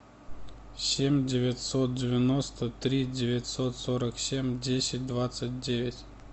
семь девятьсот девяносто три девятьсот сорок семь десять двадцать девять